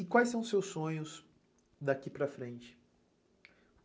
E quais são os seus sonhos daqui para frente?